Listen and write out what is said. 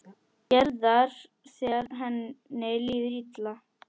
Gerðar þegar henni líður illa.